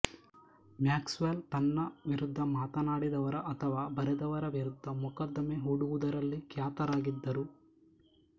Max well ತನ್ನ ವಿರುದ್ಧ ಮಾತನಾಡಿದವರ ಅಥವಾ ಬರೆದವರ ವಿರುದ್ಧ ಮೊಕದ್ದಮೆ ಹೂಡುವುದರಲ್ಲಿ ಖ್ಯಾತರಾಗಿದ್ದರು